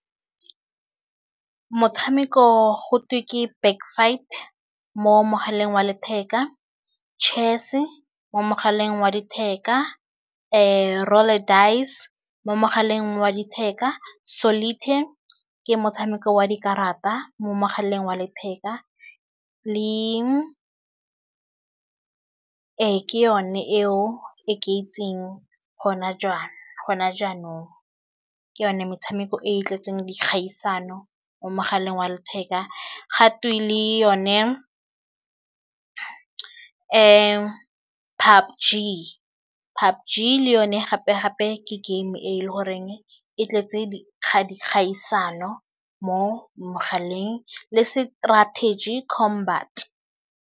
Motshameko go twe ke back-fight mo mogaleng wa letheka, chess-e mo mogaleng wa letheka, roll a dice mo mogaleng wa letheka, solitaire ke motshameko wa dikarata mo mogaleng wa letheka, ee ke yone eo e ke itseng gona gona jaanong, ke yone metshameko e e tletseng dikgaisano mo mogaleng wa letheka ga twe le yone PUBG, PUBG le yone gape-gape ke game e le goreng e tletse ga di kgang dikgaisano mo mogaleng le strategy combat.